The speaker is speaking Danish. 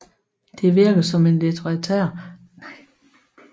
Det virker som en litterær forklaring